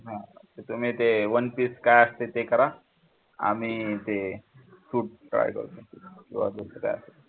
तुम्ही ते one piece काय असते ते करा आम्ही ते suit